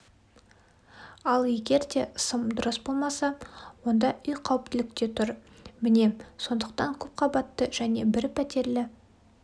ал егерде сым дұрыс болмаса онда үй қауіптілікте тұр міне сондықтан көпқабатты және бір пәтерлі